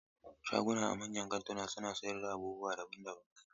Shaguna a manyan kantuna suna sayar da abubuwa daban-daban.